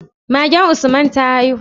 Magen usman ta haihu?